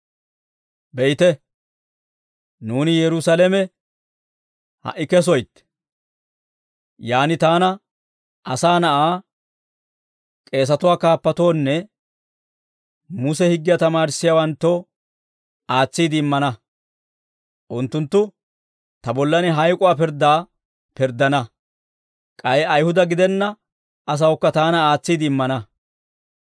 «Be'ite; nuuni Yerusaalame ha"i kesoytte; yaan taana, Asaa Na'aa, k'eesatuwaa kaappatoonne Muse higgiyaa tamaarissiyaawanttoo aatsiide immana. Unttunttu ta bollan hayk'uwaa pirddaa pirddana; k'ay ayihuda gidenna asawukka taana aatsiide immana.